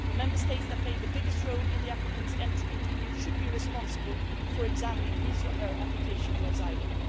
The Member States that play the biggest role in the applicant's entry into the EU should be responsible for examining his or her application for asylum.